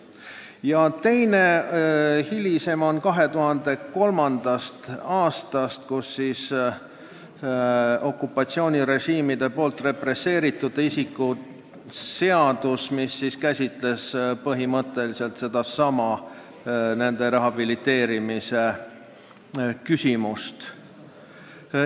Ja teine, hilisem on 2003. aastast: see on okupatsioonirežiimide poolt represseeritud isiku seadus, mis käsitles nende inimeste rehabiliteerimist.